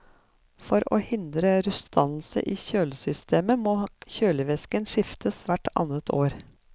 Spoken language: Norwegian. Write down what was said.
For å hindre rustdannelse i kjølesystemet må kjølevæsken skiftes hvert annet år.